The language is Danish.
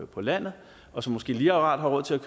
på landet og som måske lige akkurat har råd til at